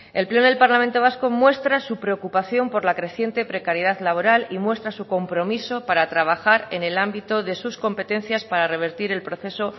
el pleno del parlamento vasco muestra su preocupación por la creciente precariedad laboral y muestra su compromiso para trabajar en el ámbito de sus competencias para revertir el proceso